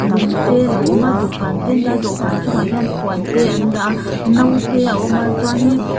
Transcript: lung te alo awm a dawhkan te an dah a dawhkan chungah hian puan te an dah a no te a awm a chuanin--